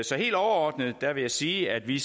så helt overordnet vil jeg sige at vi